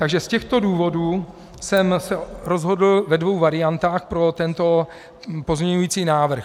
Takže z těchto důvodů jsem se rozhodl ve dvou variantách pro tento pozměňující návrh.